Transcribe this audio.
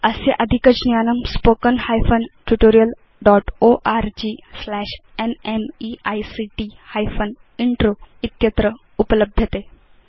अस्य अधिकज्ञानम् spoken hyphen tutorial dotओर्ग स्लैश न्मेइक्ट हाइफेन इन्त्रो इत्यत्र उपलभ्यते